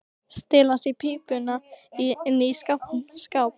Stelast í pípuna inni í skáp.